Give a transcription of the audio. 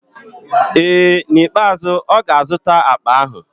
Ee, n'ikpeazụ ọ ga-azụta akpa ahụ.